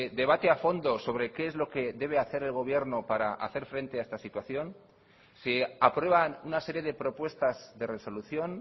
debate a fondo sobre qué es lo que debe hacer el gobierno para hacer frente a esta situación se aprueban una serie de propuestas de resolución